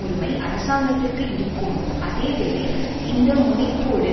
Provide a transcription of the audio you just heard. உரிமை அராசங்கத்திற்க்கு இருக்கும் அதே வேளை இந்த முனைப்போடு